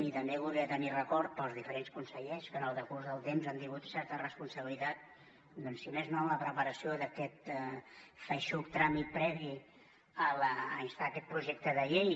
i també voldria tenir record per als diferents consellers que en el decurs del temps han tingut certa responsabilitat doncs si més no en la preparació d’aquest feixuc tràmit previ a instar aquest projecte de llei